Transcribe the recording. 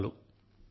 ధన్యవాదాలు